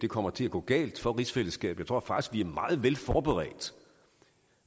kommer til at gå galt for rigsfællesskabet jeg tror faktisk vi er meget vel forberedt